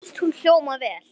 Mér fannst hún hljóma vel.